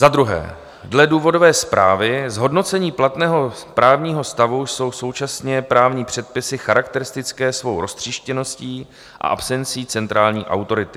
Za druhé - dle důvodové zprávy "zhodnocení platného právního stavu jsou současně právní předpisy charakteristické svou roztříštěností a absencí centrální autority".